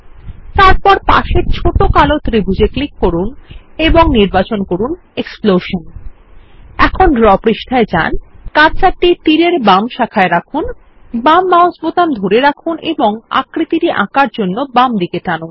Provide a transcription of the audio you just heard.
তারপর পাশের ছোট কালো ত্রিভূজ এ ক্লিক করুন এবং নির্বাচন করুন এক্সপ্লোশন এখন ড্র পৃষ্ঠায় যান কার্সারটি কে তীর এর বাম শাখায় রাখুন বাম মাউস বোতাম ধরে রাখুন এবং আকৃতিটি আঁকার জন্য বামদিকে টানুন